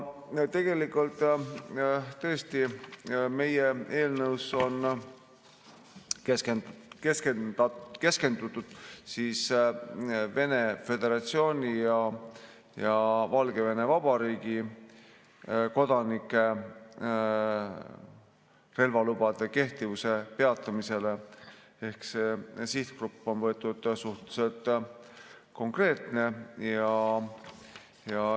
Tegelikult on meie eelnõus keskendutud Vene föderatsiooni ja Valgevene Vabariigi kodanike relvalubade kehtivuse peatamisele ehk on võetud suhteliselt konkreetne sihtgrupp.